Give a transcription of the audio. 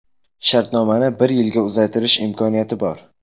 Shartnomani bir yilga uzaytirish imkoniyati bor.